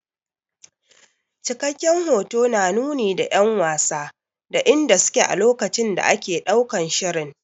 Cikakken hoto na nuni da 'yan wasa da inda su ke a lokacin da ake ɗaukan shirin.